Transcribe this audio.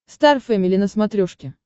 стар фэмили на смотрешке